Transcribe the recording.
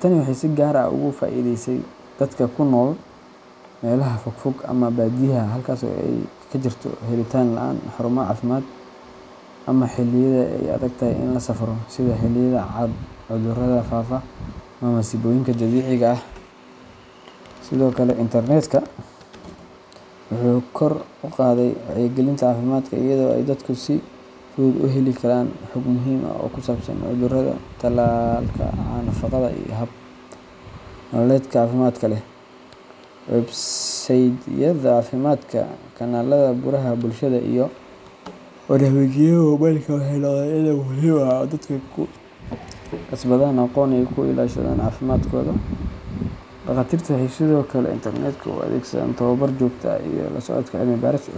Tani waxay si gaar ah ugu faa’iidaysay dadka ku nool meelaha fog fog ama baadiyaha, halkaas oo ay ka jirto helitaan la’aan xarumo caafimaad, ama xilliyada ay adagtahay in la safro sida xilliyada cudurrada faafa ama masiibooyinka dabiiciga ah. Sidoo kale, internetku wuxuu kor u qaaday wacyigelinta caafimaadka iyada oo ay dadku si fudud u heli karaan xog muhiim ah oo ku saabsan cudurrada, tallaalka, nafaqada, iyo hab nololeedka caafimaadka leh. Websaydhyada caafimaadka, kanaalada baraha bulshada, iyo barnaamijyada moobilka waxay noqdeen il muhiim ah oo dadku ku kasbadaan aqoon ay ku ilaashadaan caafimaadkooda. Dhakhaatiirtu waxay sidoo kale internetka u adeegsadaan tababar joogto ah iyo la socodka cilmi-baaris cusub.